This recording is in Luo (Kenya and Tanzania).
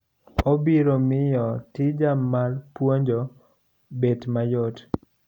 Obiro miyo tija mar puonjo bet mayot.